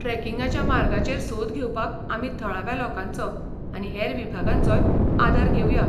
ट्रॅकिंगाच्या मार्गाचेर सोद घेवपाक आमी थळाव्या लोकांचो आनी हेर विभागांचोय आदार घेवया.